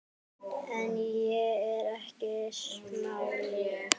En ég er ekki smali.